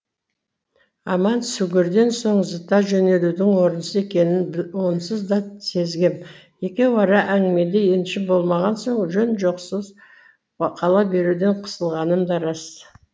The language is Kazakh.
аман сүгірден соң зыта жөнелудің орынсыз екенін онсыз да сезгем екеуара әңгімеде еншім болмаған соң жөн жосықсыз қала беруден қысылғаным да рас